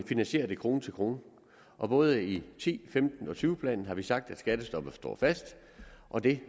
finansierer det krone til krone både i ti 15 og tyve planen har vi sagt at skattestoppet står fast og det